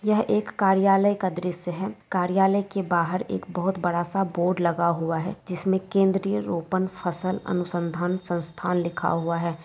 यह एक कार्यालय का द्रश्य है कार्यालय के बाहर एक बहुत बड़ा सा बोर्ड लगा हुआ है जिसमें केंद्रीय रोपण फसल अनुसंधान संस्थान लिखा हुआ है।